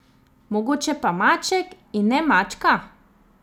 Mogoče pa maček, in ne mačka?